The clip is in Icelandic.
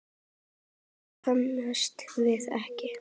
Nær komumst við ekki.